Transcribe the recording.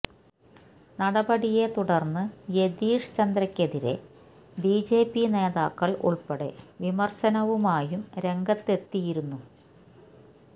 നടപടിയെ തുടർന്ന് യതീഷ് ചന്ദ്രയ്ക്കെതിരെ ബിജെപി നേതാക്കള് ഉൾപ്പെടെ വിമര്ശനവുമായും രംഗത്തെത്തിയിരുന്നു